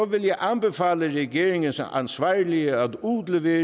vil jeg anbefale regeringens ansvarlige at udlevere